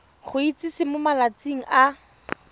go itsise mo malatsing a